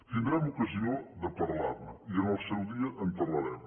tindrem ocasió de parlar ne i en el seu dia en parlarem